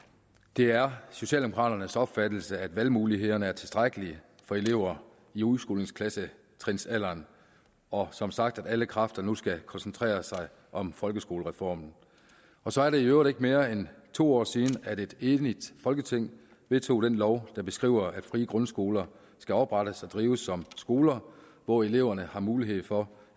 det er socialdemokraternes opfattelse at valgmulighederne er tilstrækkelige for elever i udskolingsklassetrinsalderen og som sagt at alle kræfter nu skal koncentreres om folkeskolereformen og så er det i øvrigt ikke mere end to år siden at et enigt folketing vedtog den lov der beskriver at frie grundskoler skal oprettes og drives som skoler hvor eleverne har mulighed for